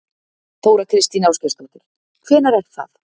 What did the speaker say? Þóra Kristín Ásgeirsdóttir: Hvenær er það?